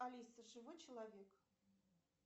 алиса живой человек